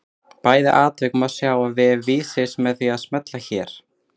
Bæði atvik má sjá á vef Vísis með því að smella hér.